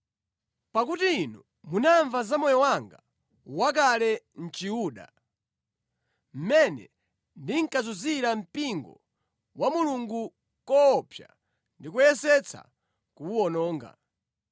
Pakuti inu munamva za moyo wanga wakale mʼChiyuda, mmene ndinkazunzira mpingo wa Mulungu koopsa ndi kuyesetsa kuwuwononga.